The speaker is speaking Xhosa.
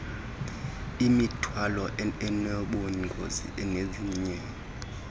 imithwalo enobungozi nezinye